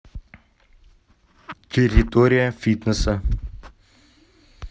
территория фитнеса